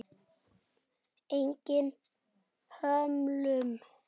Eigin hömlum.